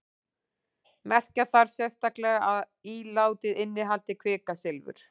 merkja þarf sérstaklega að ílátið innihaldi kvikasilfur